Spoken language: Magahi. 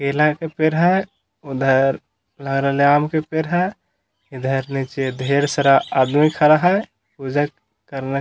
केला के पेड़ है उधर लग रहले आम के पेड़ है इधर नीचे ढेर सारा आदमी खड़ा है पूजा करने।